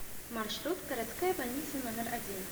маршрут городская больница номер один